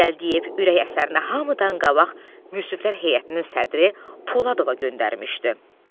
Gəldiyev ürək əsərini hamıdan qabaq müsiflər heyətinin sədri Poladova göndərmişdi.